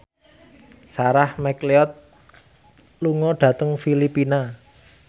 Sarah McLeod lunga dhateng Filipina